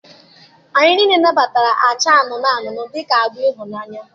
Anyị niile nabatara acha anụnụ anụnụ dị ka agba ịhụnanya